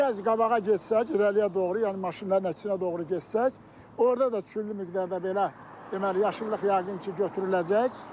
Bir az qabağa getsək, irəliyə doğru, yəni maşınların əksinə doğru getsək, orda da küllü miqdarda belə deməli yaşıllıq yəqin ki, götürüləcək.